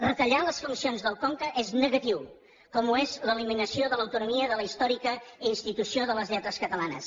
retallar les funcions del conca és negatiu com ho és l’eliminació de l’autonomia de la històrica institució de les lletres catalanes